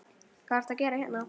Hvað ertu að gera hérna?